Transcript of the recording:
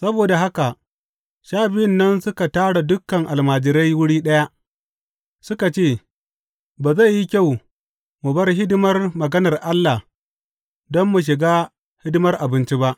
Saboda haka Sha Biyun nan suka tara dukan almajirai wuri ɗaya, suka ce, Bai zai yi kyau mu bar hidimar maganar Allah don mu shiga hidimar abinci ba.